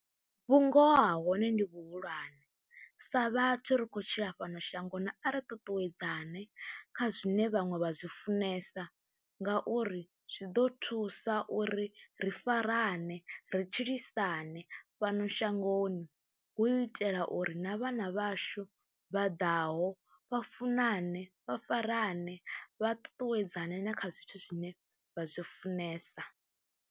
Vhungoho ha hone ndi vhuhulwane sa vhathu ri khou tshila fhano shangoni a ri ṱuṱuwedzane kha zwine vhaṅwe vha zwi funesa ngauri zwi ḓo thusa uri ri farane, ri tshilisane fhano shangoni hu itela uri na vhana vhashu vha ḓaho vha funane, vha farane vha tutuwedzana na kha zwithu zwine vha zwi funesa.